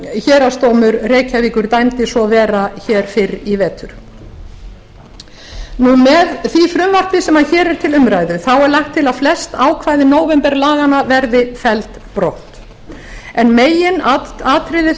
héraðsdómur reykjavíkur dæmdi svo vera hér fyrr í vetur með því frumvarpi sem hér er til umræðu er lagt til að flest ákvæði nóvemberlaganna verði felld brott meginatriði